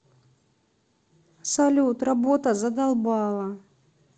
салют работа задолбала